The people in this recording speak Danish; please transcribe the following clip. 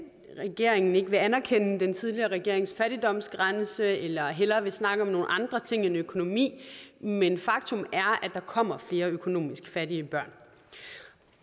regeringen ikke vil anerkende den tidligere regerings fattigdomsgrænse eller at den hellere vil snakke om nogle andre ting end økonomi men faktum er at der kommer flere økonomisk fattige børn